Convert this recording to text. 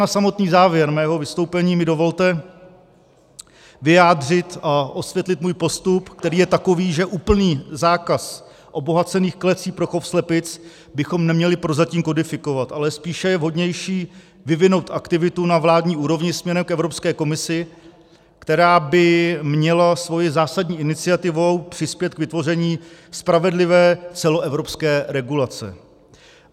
Na samotný závěr mého vystoupení mi dovolte vyjádřit a osvětlit můj postup, který je takový, že úplný zákaz obohacených klecí pro chov slepic bychom neměli prozatím kodifikovat, ale spíše je vhodnější vyvinout aktivitu na vládní úrovni směrem k Evropské komisi, která by měla svou zásadní iniciativou přispět k vytvoření spravedlivé celoevropské regulace.